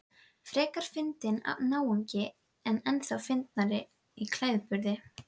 Frekar fyndinn náungi en ennþá fyndnari í klæðaburði.